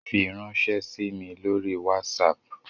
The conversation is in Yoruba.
Firanṣẹ sí mí lórí WhatsApp!